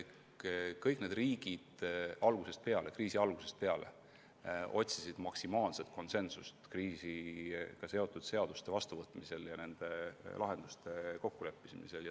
Kõik need riigid otsisid kriisi algusest peale maksimaalset konsensust kriisiga seotud seaduste vastuvõtmisel ja lahenduste kokkuleppimisel.